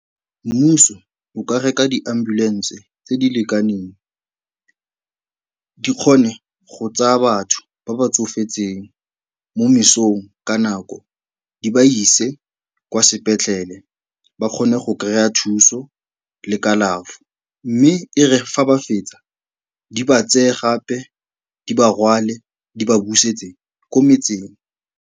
Mmuso o ka reka di-ambulance tse di lekaneng di kgone go tsaya batho ba ba tsofetseng mo mesong ka nako, di ba ise kwa sepetlele ba kgone go kry-a thuso le kalafo mme e re fa ba fetsa, di ba tseye gape di ba rwale, di ba busetse ko metseng.